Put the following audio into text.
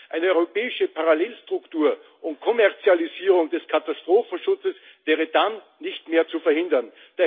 Eine europäische Parallelstruktur und Kommerzialisierung des Katastrophenschutzes wäre dann nicht mehr zu verhindern.